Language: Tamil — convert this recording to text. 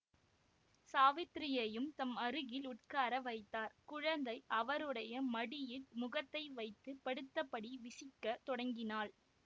சாவித்திரியையும் தம் அருகில் உட்கார வைத்தார் குழந்தை அவருடைய மடியில் முகத்தை வைத்து படுத்தபடி விசிக்கத் தொடங்கினாள்